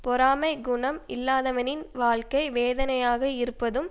பொறாமைக் குணம் இல்லாதவனின் வாழ்க்கை வேதனையாக இருப்பதும்